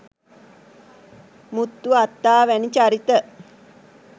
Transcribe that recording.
මුත්තු අත්තා වැනි චරිත